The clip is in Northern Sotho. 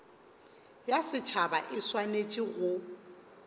ya setšhaba e swanetše go